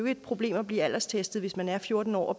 et problem at blive alderstestet hvis man er fjorten år og